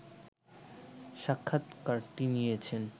স্বাক্ষাৎকারটি নিয়েছেন